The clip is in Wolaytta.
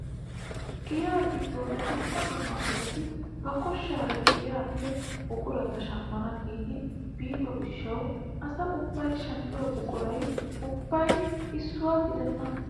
Giyaa giddon dumma dumma asati ba koshshaara giyaappe buqurata shammana giidi biido gishshawu asa ubbay shammiyoo buquray ubbay issuwaa gidenna!